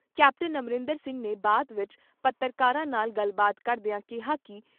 captain Amarinder Singh ਨੇ ਬਾਅਦ ਵਿਚ ਪੱਤਰਕਾਰਾਂ ਨਾਲ ਗੱਲਬਾਤ ਕਰਦਿਆਂ ਕਿਹਾ ਕਿ ਦੋਹਾਂ ਨੇ ਇਸ